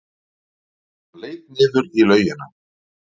Hann leit niður í laugina.